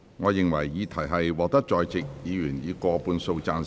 我認為議題獲得在席議員以過半數贊成。